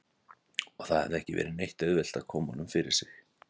Og það hafði ekki verið neitt auðvelt að koma honum fyrir sig.